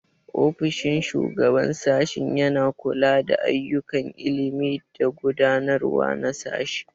Ofishin Shugaban Sashen yana kula da ayyukan ilimi da gudanarwa na sashe.